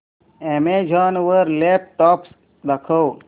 Amazon वर laptops दाखव